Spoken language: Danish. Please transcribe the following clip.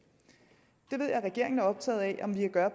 jeg ved at regeringen er optaget af om vi kan gøre